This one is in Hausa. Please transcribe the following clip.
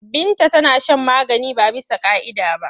Binta tana shan magani ba bisa ƙa'ida ba.